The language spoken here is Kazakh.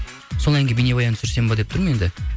сол әнге бейнебаян түсірсем бе деп тұрмын енді